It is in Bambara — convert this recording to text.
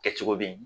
Kɛcogo bɛ ye